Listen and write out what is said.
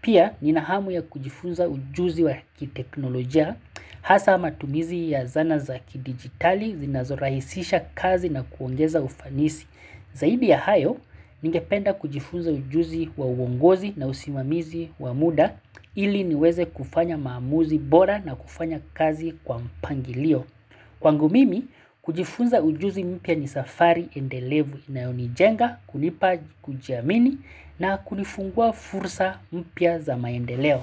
Pia, ninahamu ya kujifunza ujuzi wa kiteknolojia hasa matumizi ya zana za kidijitali zinazorahisisha kazi na kuongeza ufanisi. Zaidi ya hayo, ningependa kujifunza ujuzi wa uongozi na usimamizi wa muda ili niweze kufanya maamuzi bora na kufanya kazi kwa mpangilio. Kwangu mimi, kujifunza ujuzi mpya ni safari endelevu inayonijenga kunipa kujiamini na kunifungua fursa mpya za maendeleo.